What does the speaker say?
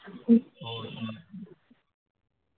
हो